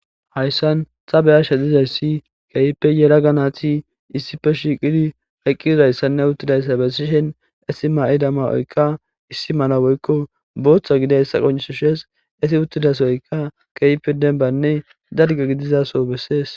Hayssan ta be7ashe dizayssi keehippe yelagga naati issipe shiiqidi eqqidayssanne uttidayssa bessishe ,etti mayida ma7oykka issi mala woykko booththa gidiyayssa qoccisees. Etti uttida sohoykka keehippe dembbanne dalgga gidida soho besees.